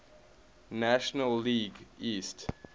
national league east